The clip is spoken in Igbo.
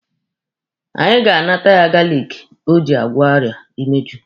Anyị ga-anata ya galiki o ji agwọ ọrịa imeju